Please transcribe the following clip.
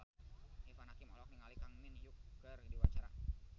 Irfan Hakim olohok ningali Kang Min Hyuk keur diwawancara